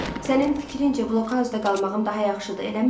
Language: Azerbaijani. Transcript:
Sənin fikrincə, blokauzda qalmağım daha yaxşıdır, eləmi?